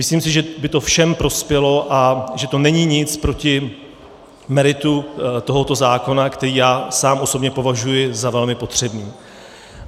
Myslím si, že by to všem prospělo a že to není nic proti meritu tohoto zákona, který já sám osobně považuji za velmi potřebný.